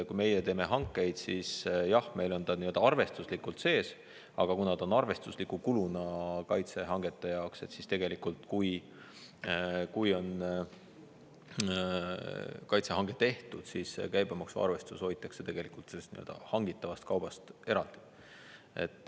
Kui meie teeme hankeid, siis jah, meil on ta arvestuslikult sees, aga kuna ta on arvestusliku kuluna kaitsehangete jaoks, siis tegelikult, kui on kaitsehange tehtud, siis käibemaksu arvestus hoitakse hangitavast kaubast eraldi.